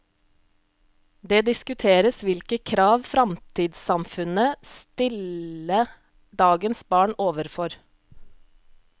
Det diskuteres hvilke krav framtidssamfunnet stille dagens barn overfor.